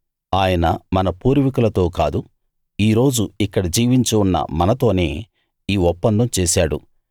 ఆయన మన పూర్వీకులతో కాదు ఈ రోజు ఇక్కడ జీవించి ఉన్న మనతోనే ఈ ఒప్పందం చేశాడు